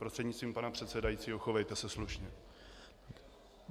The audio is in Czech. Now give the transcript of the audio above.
Prostřednictvím pana předsedajícího, chovejte se slušně.